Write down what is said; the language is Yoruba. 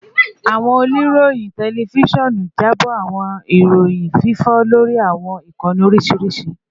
Awọn oniroyin tẹlifisiọnu jabo awọn iroyin fifọ lori awọn ikanni oriṣiriṣi